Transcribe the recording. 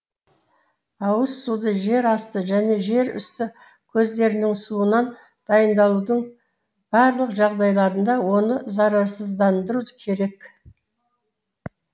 ауыз суды жер асты және жер үсті көздерінің суынан дайындаудың барлық жағдайларында оны зарарсыздандыру керек